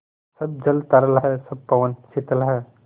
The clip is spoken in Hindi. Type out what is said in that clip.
सब जल तरल है सब पवन शीतल है